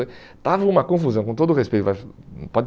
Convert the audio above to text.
Estava uma confusão, com todo respeito mas pode